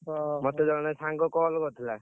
ତ ମତେ ଜଣେ ସାଙ୍ଗ call କରିଥିଲା।